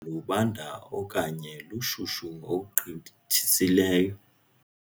Lubanda okanye lushushu ngokugqithisileyo.